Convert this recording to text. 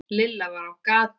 Lilla var á gatinu.